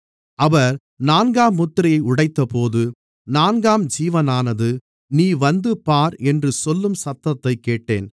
அவர் நான்காம் முத்திரையை உடைத்தபோது நான்காம் ஜீவனானது நீ வந்து பார் என்று சொல்லும் சத்தத்தைக் கேட்டேன்